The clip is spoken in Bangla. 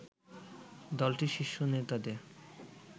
দলটির শীর্ষ নেতাদের